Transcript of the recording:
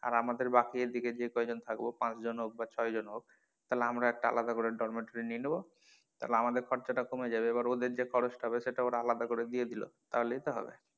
আর আমাদের বাকি এদিকে যে কয়জন থাকবো পাঁচ জন হোক বা ছয়জন হোক তাহলে আমরা একটা আলাদা করে ডরমেটো নিয়ে নেবো তাহলে আমাদের খরচা টা কমে যাবে এবার ওদের যে খরচ টা হবে তাহলে সেটা আলাদা করে দিয়ে দিলো তাহলেই তো হবে।